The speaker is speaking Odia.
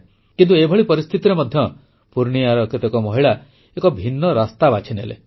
କିନ୍ତୁ ଏଭଳି ପରିସ୍ଥିତିରେ ମଧ୍ୟ ପୂର୍ଣ୍ଣିୟାର କେତେକ ମହିଳା ଏକ ଭିନ୍ନ ରାସ୍ତା ବାଛିନେଲେ